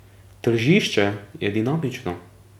Tržišče je dinamično.